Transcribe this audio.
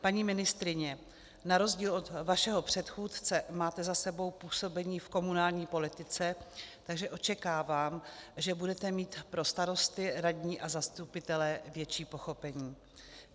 Paní ministryně, na rozdíl od vašeho předchůdce máte za sebou působení v komunální politice, takže očekávám, že budete mít pro starosty, radní a zastupitele větší pochopení.